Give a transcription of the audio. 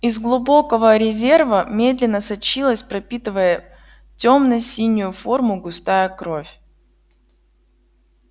из глубокого резерва медленно сочилась пропитывая тёмно-синюю форму густая кровь